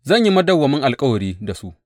Zan yi madawwamin alkawari da su.